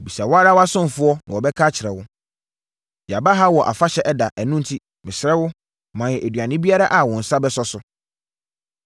Bisa wo ara wʼasomfoɔ na wɔbɛka akyerɛ wo. Yɛaba ha wɔ afahyɛ ɛda, ɛno enti, mesrɛ wo, ma yɛn aduane biara a wo nsa bɛso so.”